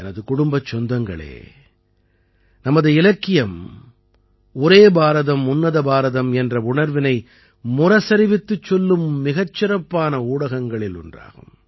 எனது குடும்பச் சொந்தங்களே நமது இலக்கியம் ஒரே பாரதம் உன்னத பாரதம் என்ற உணர்வினை முரசறிவித்துச் சொல்லும் மிகச் சிறப்பான ஊடகங்களில் ஒன்றாகும்